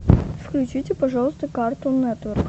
включите пожалуйста картун нетворк